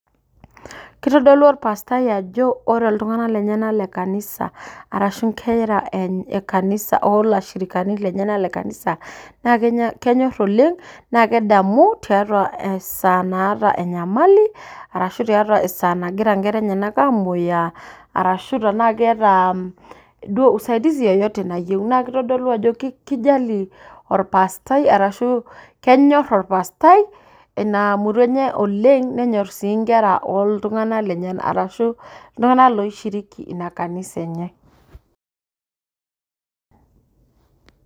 Kitodolu orpastai ajo ore iltung'anak lenyanak le kanisa arashu nkera e kanisa olashirikani lenyanak le kanisa, na kenyor oleng, na kedamu, tiatua esaa naata enyamali, tiatua esaa nagira nkera enyanak amoyiaa arashu tenaa keeta duo usaidizi yoyote nayieu. Na kitodolu ajo kijalie orpastai arashu kenyor orpastai ina murua enye oleng, nenyor si nkera oltung'anak lenyanak. Arashu iltung'anak loi shiriki ina kanisa enye.